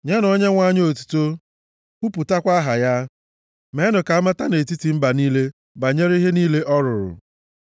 Nyenụ Onyenwe anyị otuto, kwupụtakwa aha ya. Meenụ ka amata nʼetiti mba niile banyere ihe niile ọ rụrụ.